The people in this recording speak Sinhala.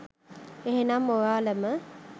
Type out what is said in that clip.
එහෙමනම් ඔයාලම